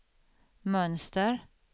mönster